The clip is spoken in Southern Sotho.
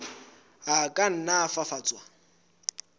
a ka nna a fafatswa